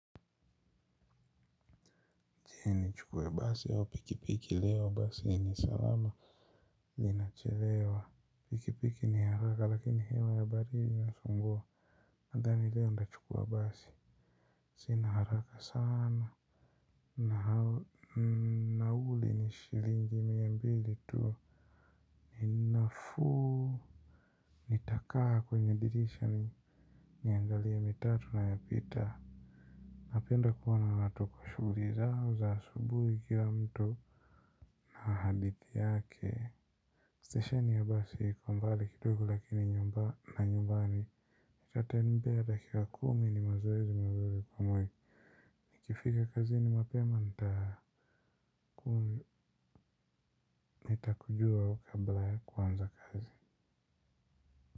Nichukue basi au pikipiki leo, basi ni salama linachelewa pikipiki ni haraka lakini hewa ya barii inasumbua nadhani leo ndachukua basi sina haraka sana na nauli ni shilingi miambili tu ni nafuu nitakaa kwenye dirisha ni niangalie mitatu na ya pita napenda kuwa na natuko shuguri zao za asubuhi kila mtu na hadithi yake. Stesheni ya basi iko mbali kidogo lakini nyumba na nyumbani itatembea dakika kumi ni mazoezi mazuri kwa mwili. Nikifika kazi ni mapema nta nitakujuwa kabla kuanza kazi.